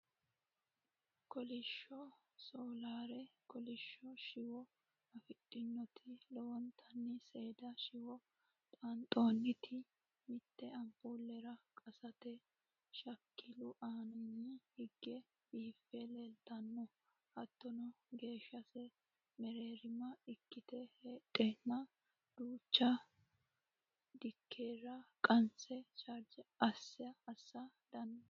Kolishsho Soolaare kolishsho shiwo afidhinoti lowontanni seeda shiwo xaanxoonniti mitte ampuulera qasante Shakilu aanaanni higge biiffe leeltanno hattono geeshshase mereerima ikkite heedheenna duucha Dilkera qanse chaarge assa dandiinsnni